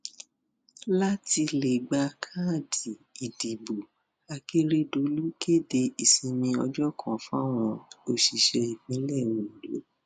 láti lè gba káàdì ìdìbò akérèdọlù kéde ìsinmi ọjọ kan fáwọn òṣìṣẹ ìpínlẹ ondo